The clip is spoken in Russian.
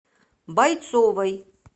бойцовой